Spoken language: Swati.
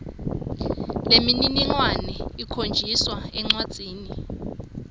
lemininingwane ikhonjiswa encwadzini